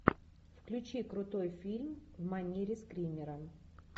включи крутой фильм в манере скримера